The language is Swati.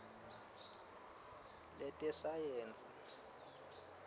letesayensi